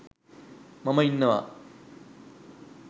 මම ඉන්නවා